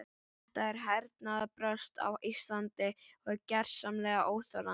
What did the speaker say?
Þetta hernaðarbrölt á Íslandi er gersamlega óþolandi.